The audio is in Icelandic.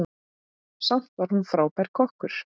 Samt var hún frábær kokkur.